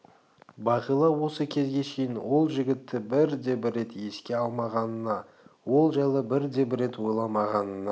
бағила осы кезге шейін ол жігітті бір де бір рет еске алмағанына ол жайлы бір де бір рет ойламағанына